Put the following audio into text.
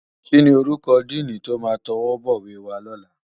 Kini órúkò dìní tó má tòwòbòwé wá lòlá